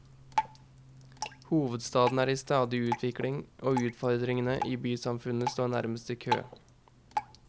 Hovedstaden er i stadig utvikling, og utfordringene i bysamfunnet står nærmest i kø.